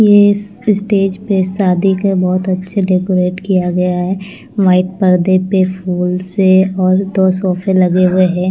ये स्टेज पे शादी का बहुत अच्छे डेकोरेट किया गया है व्हाईट परदे पे फुल से और दो सोफें लगे हुए हैं।